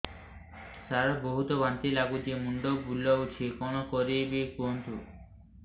ସାର ବହୁତ ବାନ୍ତି ଲାଗୁଛି ମୁଣ୍ଡ ବୁଲୋଉଛି କଣ କରିବି କୁହନ୍ତୁ